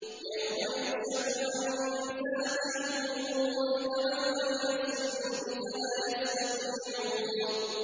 يَوْمَ يُكْشَفُ عَن سَاقٍ وَيُدْعَوْنَ إِلَى السُّجُودِ فَلَا يَسْتَطِيعُونَ